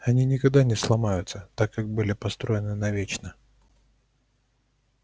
они никогда не сломаются так как были построены навечно